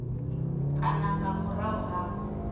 kana nga murahu ha u